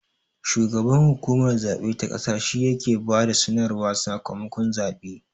Shugaban hukumar zabe ta ƙasa shi ya he ba da sanarwar sakamakon zaɓe